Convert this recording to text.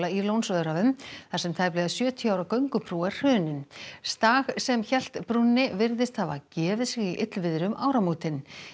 í Lónsöræfum þar sem tæplega sjötíu ára göngubrú er hrunin sem hélt brúnni virðist hafa gefið sig í illviðri um áramótin